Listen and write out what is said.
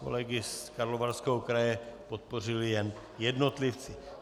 Kolegy z Karlovarského kraje podpořili jen jednotlivci.